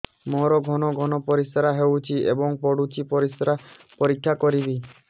ମୋର ଘନ ଘନ ପରିସ୍ରା ହେଉଛି ଏବଂ ପଡ଼ୁଛି ପରିସ୍ରା ପରୀକ୍ଷା କରିବିକି